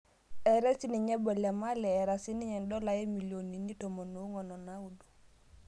Etaae sininye Bo le male etaa siniye dola omilionini 14.9